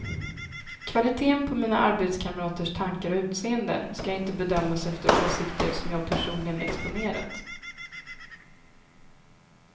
Kvaliteten på mina arbetskamraters tankar och utseende ska inte bedömas efter åsikter som jag personligen exponerat.